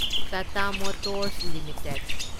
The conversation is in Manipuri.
Tata Motors limited